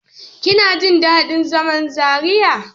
Kina jin daɗin zaman Zariya?